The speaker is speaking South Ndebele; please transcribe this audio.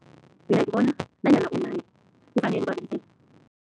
Mina ngibona nanyana kufanele